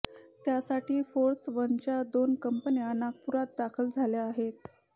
त्यासाठी फोर्स वनच्या दोन कंपन्या नागपूरात दाखल झाल्या आहेत